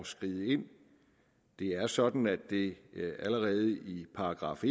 skride ind det er sådan at det allerede i §